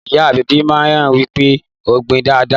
Ìyá agbẹ̀bi náà wí pé gbin dáadáa!